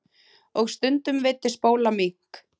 Og stundum veiddi Spóla mink.